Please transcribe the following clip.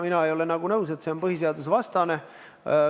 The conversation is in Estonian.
Mina ei ole nõus, et see on põhiseadusvastane.